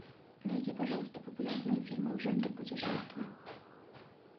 найди пожалуйста популярные фильмы в жанре путешествия